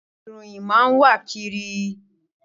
Ìròyìn máa n wa kiri.